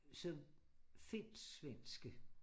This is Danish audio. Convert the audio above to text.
Så finsk-svenske